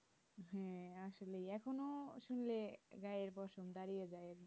হ্যাঁ আসলে এখনো শুনলে গায়ের পশম দাঁড়িয়ে যাই